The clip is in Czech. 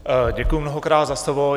Děkuji mnohokrát za slovo.